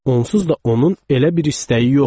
Onsuz da onun elə bir istəyi yoxdur.